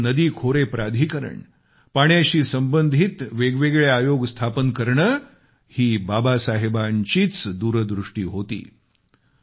अनेक नदी खोरे प्राधिकरण पाण्याशी संबंधित वेगवेगळे आयोग स्थापन करणे ही बाबासाहेबांचीच दूरदृष्टी होती